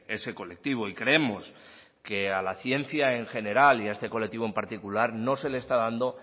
ese colectivo y creemos que a la ciencia en general y a este colectivo en particular no se le está dando